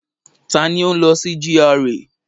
Ta ni ó ń lọ sí GRA?